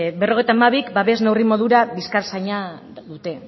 berrogeita hamabik babes neurri modura bizkartzaina dute